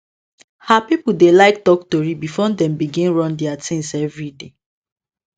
her people dey like talk tori before dem begin run their things everyday